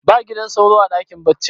ba gidan sauro a dakin baccin